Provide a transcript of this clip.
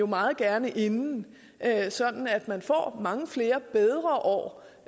meget gerne inden sådan at man får mange flere bedre år